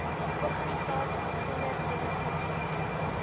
organisasies sonder winsmotief